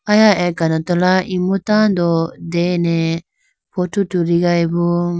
Aya akanorala imu tando dene photo tuligayibo.